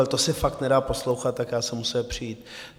Ale to se fakt nedá poslouchat, tak já jsem musel přijít.